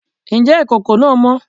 Ǹjẹ́ ìkòkò náà mọ́?